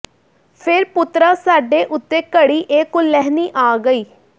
ਫੇਰ ਪੁੱਤਰਾ ਸਾਡੇ ਉਤੇ ਘੜੀ ਇਹ ਕੁਲੈਹਣੀ ਆ ਗਈ